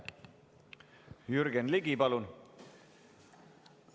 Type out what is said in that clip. Jürgen Ligi, palun!